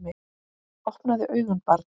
Opnaðu augun barn!